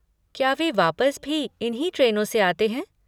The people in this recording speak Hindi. क्या वे वापस भी इन्हीं ट्रेनों से आते हैं?